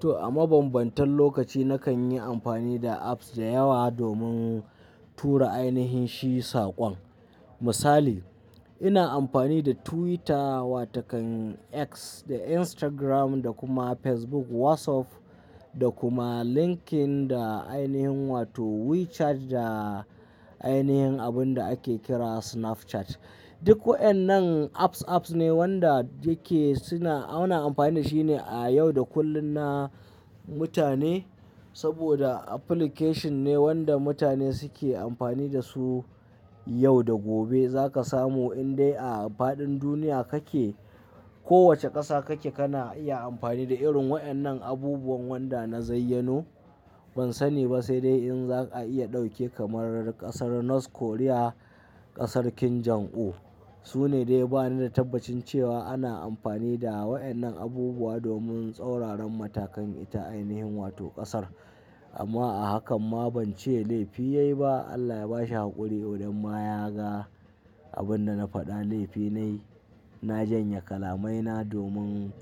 To a mabambantan lokaci na kan yi amfani da apps da yawa domin tura ainihin shi saƙon. Misali, ina amfani da Twitter wa takan X da Instagram da kuma Facebook, WhatsApp da kuma LinkedIn da ainihin wato WeChat da ainihin abun da ake kira Snapchat. Duk wayannan apps, apps ne wanda yake suna-- ana amfani da shi ne a yau da kullum na mutane saboda application ne wanda mutane suke amfani da su yau da gobe. Za ka samu indai a faɗin duniya kake, kowace ƙasa kake kana iya amfani da irin wayannan abubuwan wanda na zayyano. Ban sani ba sai dai in za ka iya ɗauke kamar ƙasar North Korea, ƙasar Kim Jong Un. Su ne dai ba ni da tabbacin cewa ana amfani da wa'annan abubuwa domin tsauraran matakan ita ainihin wato ƙasar. Amma a haka ma ban ce laifi ya yi ba. Allah ya ba shi haƙuri. Kodan ma ya ga abin da na faɗa laifi nayi. Na janye kalamaina domin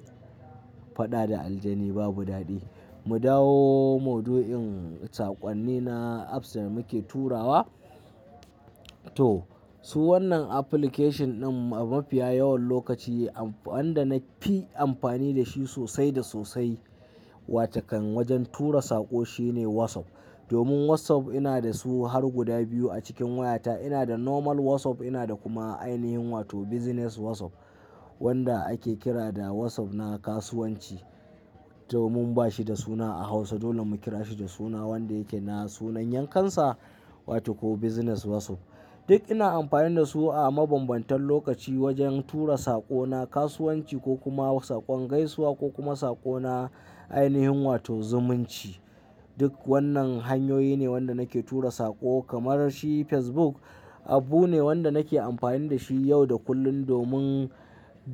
faɗa da aljani babu daɗi. Mu dawo mauduin saƙonni na apps da muke turawa. To, su wannan application din a mafiya yawan lokaci wanda na fi amfani da shi sosai da sosai wa takan wajen tura saƙo shine WhatsApp. Domin WhatsApp ina da su har guda biyu a cikin wayata. Ina da normal WhatsApp, ina da kuma ainihin wato business WhatsApp wanda ake kira da WhatsApp na kasuwanci. Domin ba shi da suna a Hausa, dole mu kira shi da suna wanda yake na sunan yankansa wato business WhatsApp. Duk ina amfani da su a mabambantan lokaci wajen tura saƙo na kasuwanci ko kuma saƙon gaisuwa ko kuma saƙo na ainihin wato zumunci. Duk wannan hanyoyi ne wanda nake tura saƙo kamar shi Facebook abu ne wanda nake amfani da shi yau da kullum domin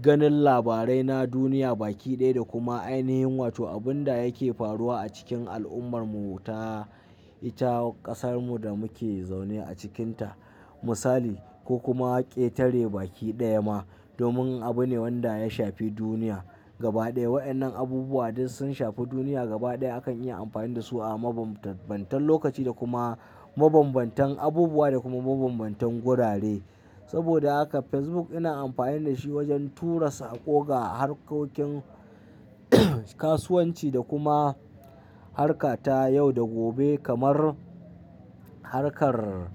ganin labarai na duniya baki ɗaya da kuma ainihin wato abun da yake faruwa a cikin al'ummar mu ta ita ƙasarmu da muke zaune a cikinta. Misali ko kuma ƙetare baki ɗaya ma domin abu ne wanda ya shafi duniya gaba ɗaya. Wayannan abubuwa duk sun shafi duniya gaba ɗaya. Akan iya amfani da su a mabambantan lokaci da kuma mabambantan abubuwa da kuma mabambantan gurare. Saboda haka Facebook ina amfani da shi wajen tura saƙo ga harkokin kasuwanci da kuma harka ta yau da gobe kamar harkar,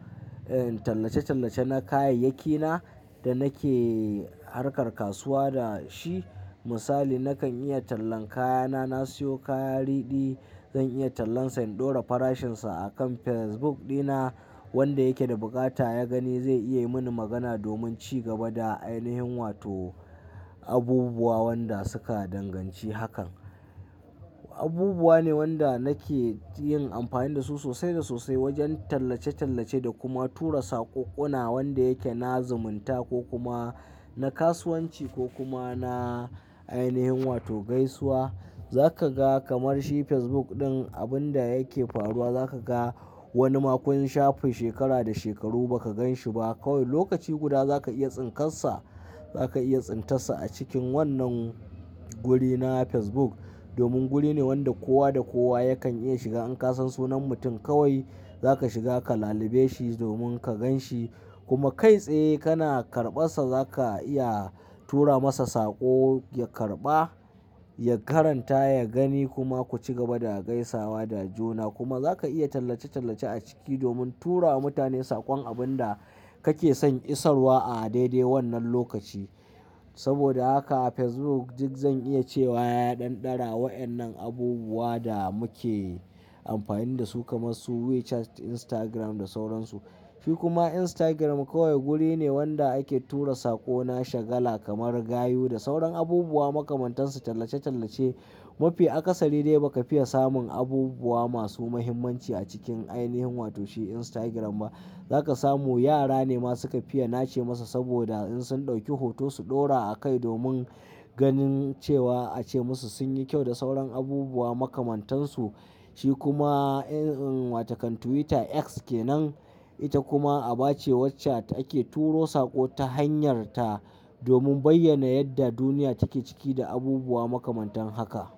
eh, tallace-tallace na kayayyakina da nake harkar kasuwa da shi. Misali nakan iya tallan kayana, na siyo kaya riɗi, zan iya tallansa in ɗora farashinsa a kan Facebook ɗina wanda yake da buƙata ya gani zai iya yi mini magana domin ci gaba da ainihin wato abubuwa wanda suka danganci hakan. Abubuwa ne wanda nake yin amfani da su sosai da sosai wajen tallace-tallace da kuma tura saƙokuna wanda yake na zumunta ko kuma na kasuwanci ko kuma na ainihin wato gaisuwa. Za ka ga kamar shi Facebook ɗin abun da yake faruwa za ka ga wani ma kun shafe shekara da shekaru ba ka gan shi ba. Kowai lokaci guda za ka iya tsinkassa, za ka iya tsintassa a cikin wannan guri na Facebook. Domin guri ne wanda kowa da kowa yakan iya shiga. In ka san sunan mutum kawai za ka shiga ka lalube shi domin ka gan shi kuma kai tsaye kana karɓassa za ka iya tura masa saƙo ya karɓa, ya karanta, ya gani kuma ku ci gaba da gaisawa da juna. Kuma za ka iya tallace-tallace a ciki domin turawa mutane saƙon abun da kake son isarwa a daidai wannan lokaci. Saboda haka Facebook duk zan iya cewa ya ɗan ɗara wayannan abubuwa da muke amfani da su kamar su WeChat, Instagram da sauransu. Shi kuma Instagram kawai guri ne wanda ake tura saƙo na shagala kamar gayu da sauran abubuwa makamantansu tallace-tallace. Mafi akasari dai ba ka fiya samun abubuwa masu muhimmanci a cikin ainihin wato shi Instagram ba. Za ka samu yara ne masu ka fiya nace musa saboda in sun ɗauki hoto su ɗora a kai domin ganin cewa a ce musu sun yi kyau da sauran abubuwa makamantansu. Shi kuma, eh, um, wa takan Twitter, X kenan. Ita kuma a bace wacce ake turo saƙo ta hanyarta domin bayyana yadda duniya take ciki da abubuwa makamantan haka.